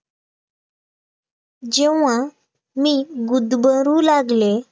जेव्हा मी गुदमरू लागलें